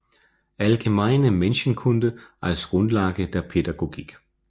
Allgemeine Menschenkunde als Grundlage der Pädagogik